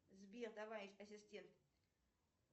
сбер давай ассистент